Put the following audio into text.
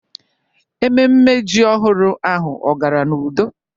Ememme ji ọhụrụ ahụ ọ gara n'udo?